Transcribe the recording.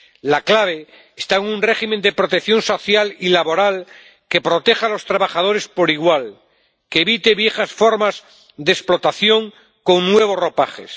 La clave está en un régimen de protección social y laboral que proteja a los trabajadores por igual, que evite viejas formas de explotación con nuevos ropajes.